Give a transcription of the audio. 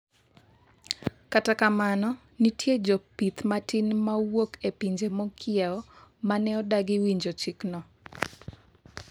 kata kamano nitie jopith matin mawuok e pinje mokiewo mane odagi winjo chikno